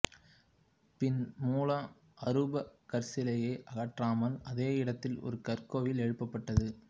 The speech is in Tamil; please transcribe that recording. பின் மூல அரூப கற்சிலையை அகற்றாமல் அதே இடத்தில் ஒரு கற்கோவில் ஏழுப்பப்பட்டது